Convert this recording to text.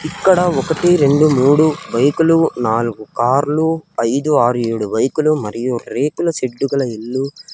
ఇక్కడ ఒకటి రెండు మూడు బైకులు నాలుగు కార్లు ఐదు ఆరు ఏడు బైకులు మరియు రేకుల షెడ్డు గల ఇల్లు--